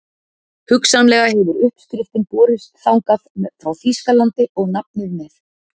Hugsanlega hefur uppskriftin borist þangað frá Þýskalandi og nafnið með.